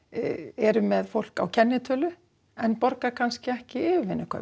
eru með fólk á kennitölu en borga kannski ekki yfirivinnukaup